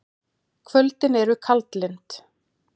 Kvöldin eru kaldlynd.